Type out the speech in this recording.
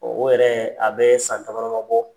o yɛrɛ a bɛɛ san dama-dama bɔ.